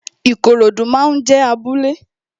Ikorodu máa ń jé abúlé